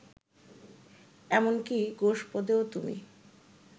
এমন কি গোষ্পদেও তুমি